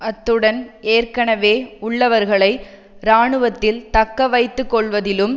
அத்துடன் ஏற்கனவே உள்ளவர்களை இராணுவத்தில் தக்கவைத்துக்கொள்வதிலும்